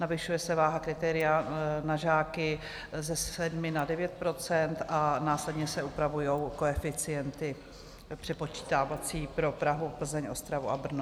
Navyšuje se váha kritéria na žáky ze 7 na 9 % a následně se upravují koeficienty přepočítávací pro Prahu, Plzeň, Ostravu a Brno.